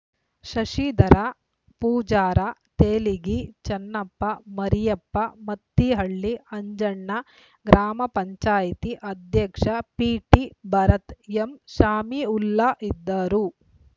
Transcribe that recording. ಶಶಿಧರ ಪೂಜಾರ ತೆಲಿಗಿ ಚೆನ್ನಪ್ಪ ಮರಿಯಪ್ಪ ಮತ್ತಿಹಳ್ಳಿ ಅಜ್ಜಣ್ಣ ಗ್ರಾಮ ಪಂಚಾಯಿತಿ ಅಧ್ಯಕ್ಷ ಪಿಟಿಭರತ್‌ ಎಂಶಮಿಉಲ್ಲಾ ಇದ್ದರು